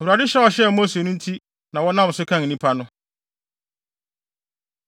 Awurade hyɛ a ɔhyɛɛ Mose no nti na wɔnam so kan nnipa no.